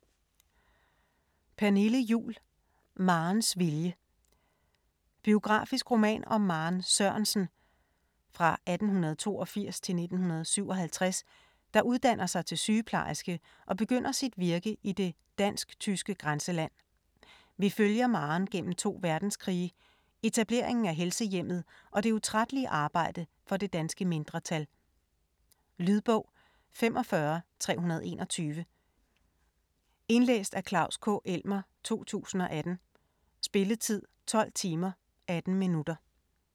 Juhl, Pernille: Marens vilje Biografisk roman om Maren Sørensen (1882-1957), der uddanner sig til sygeplejerske og begynder sit virke i det dansk/tyske grænseland. Vi følger Maren gennem to verdenskrige, etableringen af Helsehjemmet og det utrættelige arbejde for det danske mindretal. Lydbog 45321 Indlæst af Klaus K. Elmer, 2018. Spilletid: 12 timer, 18 minutter.